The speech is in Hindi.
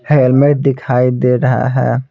हेलमेट दिखाई दे रहा है।